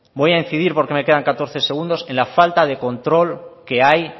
voy a incidir porque me quedan catorce segundos en la falta de control que hay